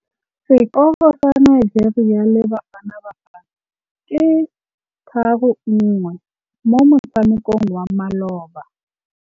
Sekôrô sa Nigeria le Bafanabafana ke 3-1 mo motshamekong wa malôba.